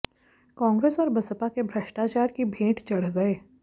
कांग्रेस और बसपा के भ्रष्टाचार की भेंट चढ़ गए